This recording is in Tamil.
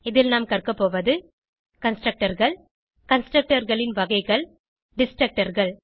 இதில் நாம் கற்கபோவது Constructorகள் constructorகளின் வகைகள் Destructorகள்